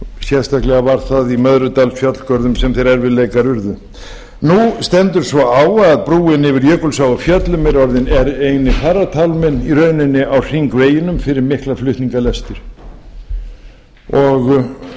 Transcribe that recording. sérstaklega var það í möðrudalsfjallgörðum sem þeir erfiðleikar urðu nú stendur svo á að brúin yfir jökulsá á fjöllum er eini farartálminn í rauninni á hringveginum fyrir mikla flutningalestir